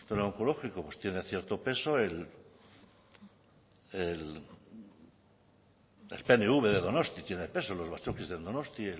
el onkologiko tiene cierto peso el pnv de donostia tiene peso los batzokis de donosti